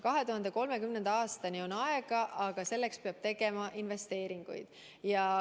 2030. aastani on aega, aga selleks peab tegema investeeringuid.